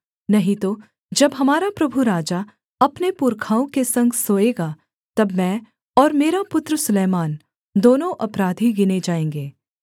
नहीं तो जब हमारा प्रभु राजा अपने पुरखाओं के संग सोएगा तब मैं और मेरा पुत्र सुलैमान दोनों अपराधी गिने जाएँगे